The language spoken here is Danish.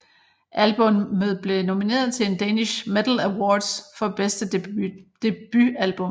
Albummet blev nomineret til en Danish Metal Awards for bedste debutalbum